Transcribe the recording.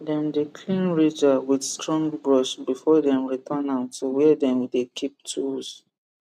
dem dey clean ridger with strong brush before dem return am to where dem dey keep tools